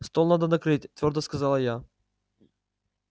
стол надо накрыть твёрдо сказала я